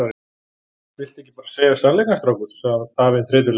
Viltu ekki bara segja sannleikann, strákur? sagði afinn þreytulega.